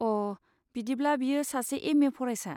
अ, बिदिब्ला बियो सासे एम ए फरायसा।